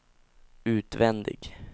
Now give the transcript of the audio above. utvändig